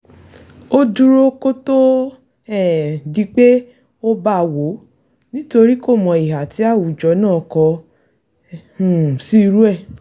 ó dúró kó tó um di pé ó bawọ́ nítorí kòmọ ìhà tí àwùjọ náà kọ um sí irú rẹ̀